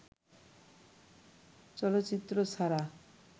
চলচ্চিত্র ছাড়া